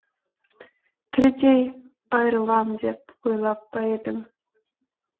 тірідей айырылам деп ойлап па едім